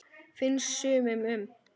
Finnst sumum.